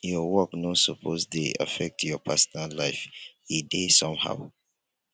your work no suppose dey affect your personal life e dey somehow